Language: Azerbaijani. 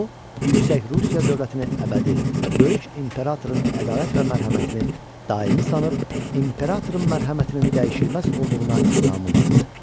O yüksək Rusiya dövlətini əbədi, böyük imperatorun ədalət və mərhəmətini daimi sanıb, imperatorun mərhəmətinin dəyişilməz olduğuna inamı vardı.